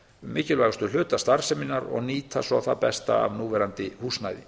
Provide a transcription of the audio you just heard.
mikilvægustu hluta starfseminnar og nýta svo það besta af núverandi húsnæði